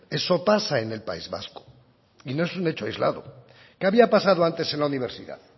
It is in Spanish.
eso pasa en el país vasco y no es un hecho aislado qué había pasado antes en la universidad